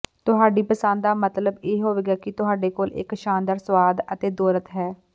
ਤੁਹਾਡੀ ਪਸੰਦ ਦਾ ਮਤਲਬ ਇਹ ਹੋਵੇਗਾ ਕਿ ਤੁਹਾਡੇ ਕੋਲ ਇੱਕ ਸ਼ਾਨਦਾਰ ਸੁਆਦ ਅਤੇ ਦੌਲਤ ਹੈ